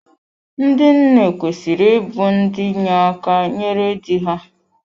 Ndị nne kwesịrị ịbụ ndị inye aka nyere dị ha.